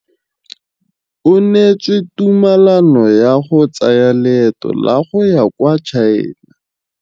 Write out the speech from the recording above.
O neetswe tumalanô ya go tsaya loetô la go ya kwa China.